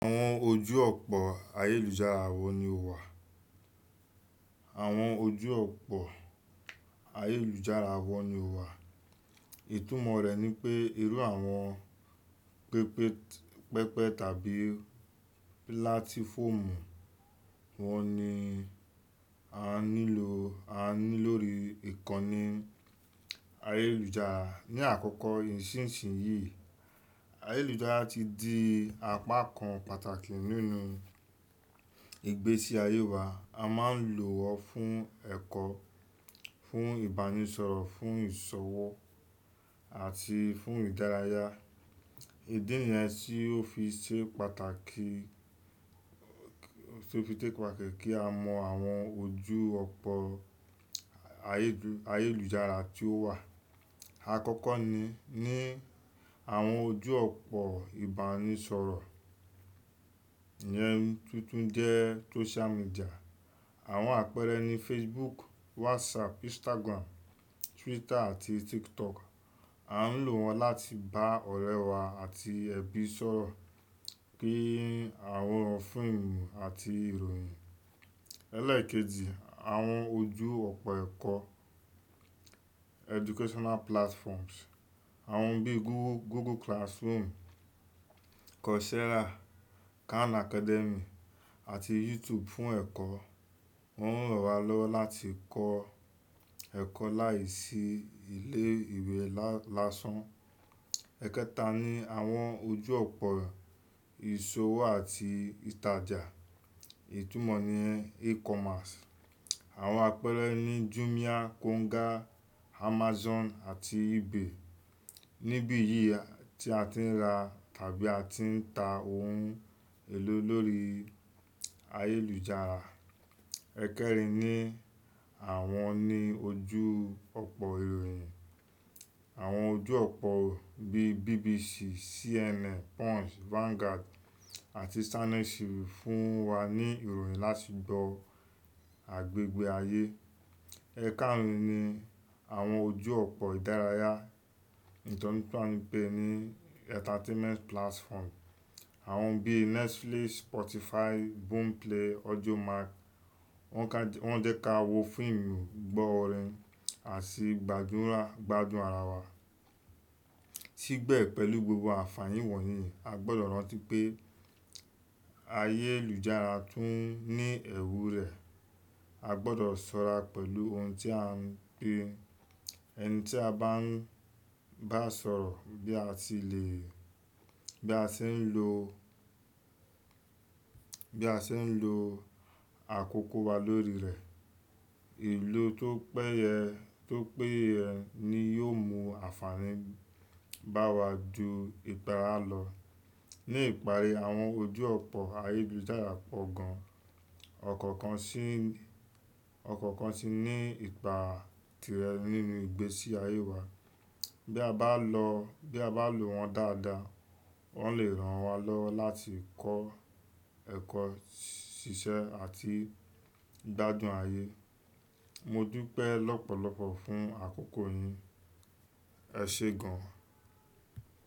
Àwọn ojú ọ̀pọ̀ ayélujára wọ́n ni o wà. Àwọn ojú ọ̀pọ̀ ayélujára wọ́n ni o wà. Ìtúmọ̀ rẹ̀ ni pé, irú àwọn pépè, pẹpẹ tàbí pílátífòòmù wọn ni a nílò, a ní lórí ìkànnì ayélujára. Ni àkókò ìṣìnṣìn yìí, ayélujára ti di apá kan pàtàkì nínú ìgbésí ayé wa. A máa ń lò wọ́n fún ẹ̀kọ́, fún ìbánisọ̀rọ̀, fún ìṣòwò àti fún ìdárayá. Ìdí nìyẹn tí ó fi ṣe pàtàkì, tí ó fi tẹ ipa kẹ̀ kí a mọ àwọn ojú ọ̀pọ̀ ayélujára tí ó wà. Àkọ́kọ́ ni, ní àwọn ojú ọ̀pọ̀ ìbánisọ̀rọ̀. Ìyẹn tuntun jẹ́ social media. Àwọn àpẹẹrẹ ni Facebook, WhatsApp, Instagram, Twitter àti TikTok. A ń lò wọ́n láti bá ọ̀rẹ́ wa àti ẹbí sọ̀rọ̀, pín àwọn fíìmù àti ìròyìn. Ẹlẹ́ẹ̀kejì, àwọn ojú ọ̀pọ̀ ẹ̀kọ́, educational platforms. Àwọn bíi Google, Google Classroom, Coursera, Khan Academy àti YouTube fún ẹ̀kọ́. Wọ́n ń rọ̀ wá lọ́wọ́ láti kọ́ ẹ̀kọ́ láìsí ilé ìwé lásán. Ẹ̀kẹta ni àwọn ojú ọ̀pọ̀ ìṣòwò àti ìtajà. Ìtúmọ̀ ni e-commerce. Àwọn àpẹẹrẹ ni Jumia, Konga, Amazon àti eBay. Nibiyi tí a ti ń ra tàbí a ti ń ta ohun èlò lórí ayélujára. Ẹ̀kẹrin ni àwọn ní ojú ọ̀pọ̀ ìròyìn. Àwọn ojú ọ̀pọ̀ bíi BBC, CNN, Punch, Vanguard àti Channels fún wa ní ìròyìn láti gbọ́ agbègbè ayé. Ẹ̀karùn-ún ni àwọn ojú ọ̀pọ̀ ìdárayá. Ìtọ́ni tí a ń pè ní entertainment platform. Àwọn bíi Netflix, Spotify, Boomplay, Audiomark. Wọ́n ka, wọ́n jẹ́ ká wo fíìmù, gbọ́ orin àti gbádura, gbádùn ara wa. Síbẹ̀ pẹ̀lú gbogbo àfààní wọ̀nyí, a gbọdọ̀ rántí pé ayélujára tún ní ẹ̀wù rẹ̀. A gbọdọ̀ sọ́ra pẹ̀lú ohun tí a ń pe, ẹni tí a bá ń, bá sọ̀rọ̀ bí a ti lè, bí a ṣe ń lo, bí a ṣe ń lo àkókò wa lórí rẹ̀. Ìlò tó péye, tó péye ni yóò mú àfààní bá wa ju ìpàrá lọ. Ni ìparí, àwọn ojú ọ̀pọ̀ ayélujára pọ̀ gan. Ọ̀kọ̀ọ̀kan sì ń, ọ̀kọ̀ọ̀kan sì ní ipa tirẹ̀ nínú ìgbésí ayé wa. Bí a bá lọ, bí a bá lò wọ́n dáadáa, wọn lè ràn wá lọ́wọ́ láti kọ́ ẹ̀kọ́, ṣiṣẹ́ àti gbádùn ayé. Modupẹ́ lọ́pọ̀lọpọ̀ fún àkókò yìí. Ẹ ṣe gan.